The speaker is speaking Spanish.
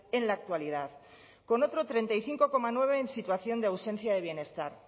en la actualidad con otro treinta y cinco coma nueve en situación de ausencia de bienestar